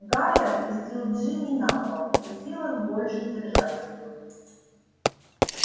гарри опустил джинни на пол не в силах больше держать её